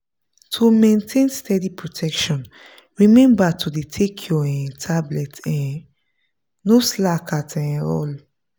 to maintain steady protection remember to dey take your um tablet um no slack at um all.